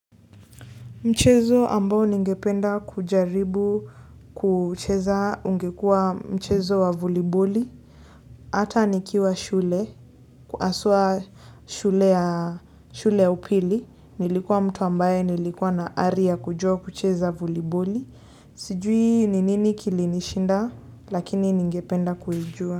Mchezo ambao ningependa kujaribu kucheza ungekua mchezo wa voliboli. Hata nikiwa shule, haswa shule ya shule ya upili. Nilikuwa mtu ambaye nilikuwa na ari ya kujua kucheza voliboli. Sijui ni nini kilinishinda lakini ningependa kuijua.